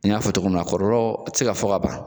N y'a fɔ togo min na kɔlɔlɔ ti se ka fɔ ban